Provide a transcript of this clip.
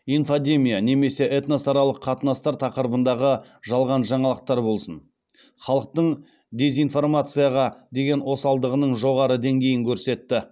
инфодемия немесе этносаралық қатынастар тақырыбындағы жалған жаңалықтар болсын халықтың дезинформацияға деген осалдығының жоғары деңгейін көрсетті